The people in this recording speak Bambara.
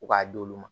Ko k'a d'olu ma